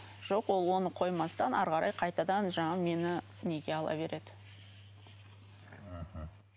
жоқ ол оны қоймастан әрі қарай қайтадан жаңағы мені неге ала береді мхм